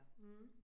Mh